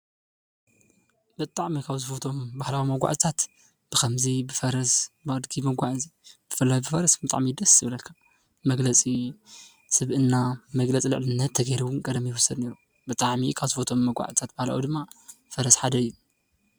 ብጣዕሚ ካብ ዝፈትዎም መጓዓዝያ እዩ ብፈረስ እዚ ኸዓ መግለፂ ስብእናን ሃፍትን እዩ።